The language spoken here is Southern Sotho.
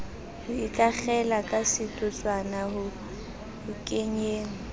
ho ikakgela kasetotswana ho kenyeng